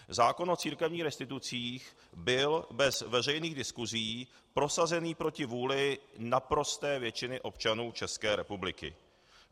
Zákon o církevních restitucích byl bez veřejných diskusí prosazen proti vůli naprosté většiny občanů České republiky.